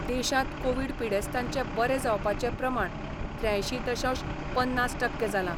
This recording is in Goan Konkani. देशांत कोवीड पिडेस्तांचे बरे जावपाचे प्रमाण त्र्यांयशीं दशांश पन्नास टक्के जालां.